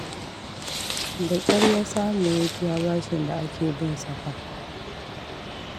Da ƙyar ya samu ya biya bashin da ake bin sa fa